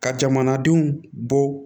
Ka jamanadenw bɔ